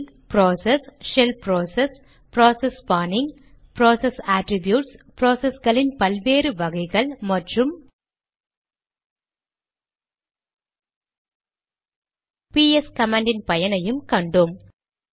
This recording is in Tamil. இதில் process shell process process spawning process attributes ப்ராசஸ்களின் பல் வேறு வகைகள் மற்றும் பிஎஸ் கமாண்ட் இன் பயனையும் கண்டோம்